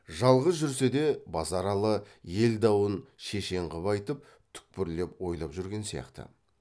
жалғыз жүрсе де базаралы ел дауын шешен қып айтып түкпірлеп ойлап жүрген сияқты